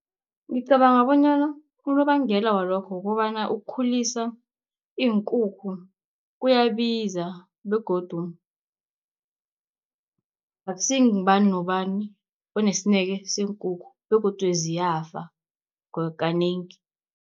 Ngicabanga bonyana unobangela walokho, kukobana ukukhulisa iinkukhu kuyabiza begodu akusi ngubani nobani onesineke seenkukhu begodu ziyafa kanengi.